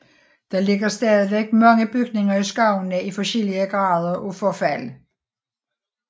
Der ligger stadig mange bygninger i skovene i forskellige grader af forfald